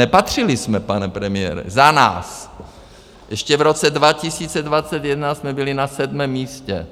Nepatřili jsme, pane premiére, za nás, ještě v roce 2021 jsme byli na sedmém místě,